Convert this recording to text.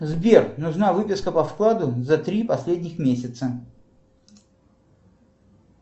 сбер нужна выписка по вкладу за три последних месяца